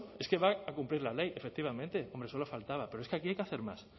es que va a cumplir la ley efectivamente hombre solo faltaba pero es que aquí hay que hacer más